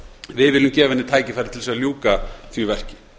við viljum gefa henni tækifæri til að ljúka því verki